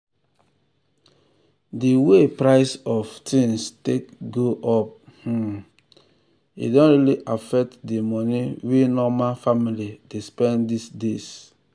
de way price of um things take go um up um don really affect de money wey normal family dey spend this days.